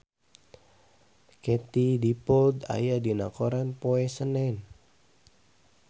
Katie Dippold aya dina koran poe Senen